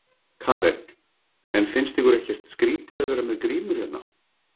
Karen: En finnst ykkur ekkert skrítið að vera með grímur hérna?